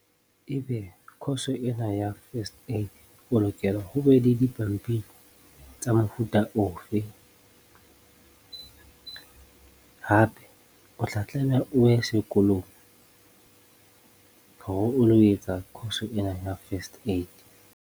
Ebe course ena ya first aid, o lokela ho be le dipampiri tsa mofuta ofe? Hape o tla tlameha o ye sekolong hore o lo etsa course ena ya first aid.